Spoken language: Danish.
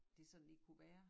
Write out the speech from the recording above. Det sådan lige kunne være